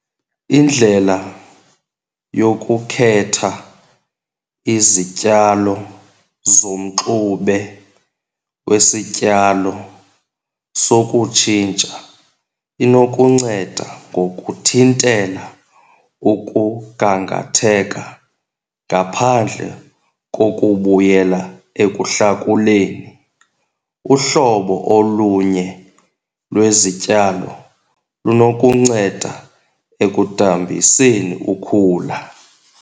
Indlela yokukhetha izityalo zomxube wesityalo sokutshintsha inokunceda ngokuthintela ukugangatheka ngaphandle kokubuyela ekuhlakuleni. Uhlobo olunye lwezityalo lunokunceda ekudambiseni ukhula.